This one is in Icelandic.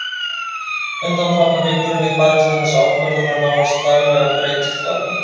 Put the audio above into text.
Undanfarnar vikur hef ég barist við þessa ákvörðun og nánast daglega breytist val mitt.